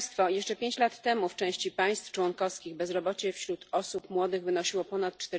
Jeszcze 5 lat temu w części państw członkowskich bezrobocie wśród osób młodych wynosiło ponad